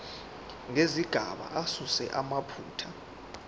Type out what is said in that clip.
nezigaba asuse amaphutha